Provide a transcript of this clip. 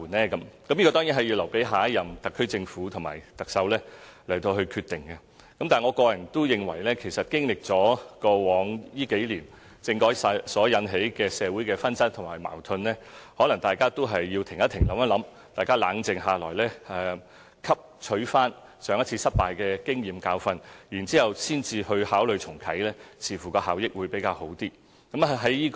這個當然有待下一任特區政府和特首決定，但我個人認為，其實經歷了過往幾年政改所引起的社會紛爭和矛盾，大家也許有需要"停一停，諗一諗"，冷靜下來，汲取上一次失敗的經驗和教訓後才考慮重啟政改，這樣似乎會有較大效益。